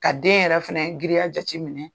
Ka den yɛrɛ fɛnɛ giriya jati minɛ